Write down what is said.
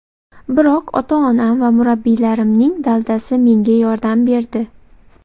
Biroq ota-onam va murabbiylarimning daldasi menga yordam berdi.